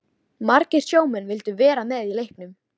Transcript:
Margir sjómenn vildu vera með í leiknum.